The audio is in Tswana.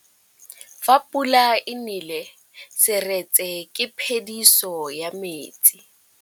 Fa pula e nelê serêtsê ke phêdisô ya metsi.